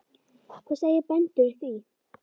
Hvað segja bændur við því?